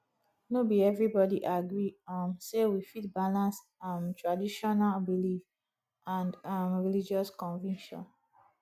no be everybody agree um sey we fit balance um traditional belief and um religious conviction